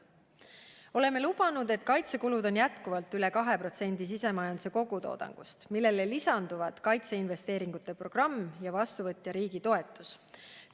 Oleme lubanud, et kaitsekulud on edaspidigi üle 2% SKT-st, millele lisanduvad kaitseinvesteeringute programm ja vastuvõtja riigi toetus.